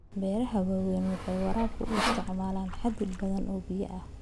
Beeraha waaweyni waxay waraabka u isticmaalaan xaddi badan oo biyo ah.